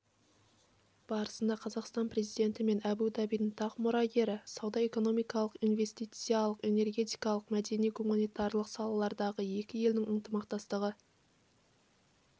барысында қазақстан президенті мен абу-дабидің тақ мұрагері сауда-экономикалық инвестициялық энергетикалық мәдени-гуманитарлық салалардағы екі елдің ынтымақтастығы